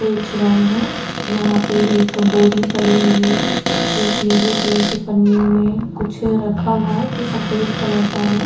बेच रहे है यहाँ पे एक बोरी पड़ी हुई है एक नीले कलर की पन्नियों में कुछ रखा हुआ है जो सफ़ेद कलर का है।